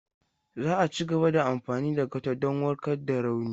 Za a cigaba da amfani da gauta don warkar da rauni.